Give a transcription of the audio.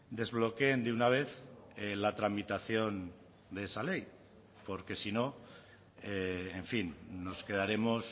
desbloqueen de una vez la tramitación de esa ley porque si no en fin nos quedaremos